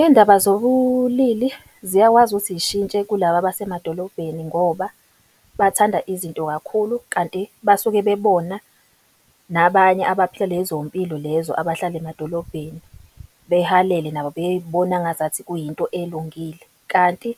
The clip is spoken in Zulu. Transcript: Iy'ndaba zobulili ziyakwazi ukuthi zishintshe kulaba abasemadolobheni, ngoba bathanda izinto kakhulu kanti basuke bebona nabanye abaphila lezo mpilo lezo abahlala emadolobheni, behalele nabo bebona ngazathi kuyinto elungile, kanti